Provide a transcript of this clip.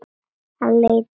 Hann leit yfir herlið sitt.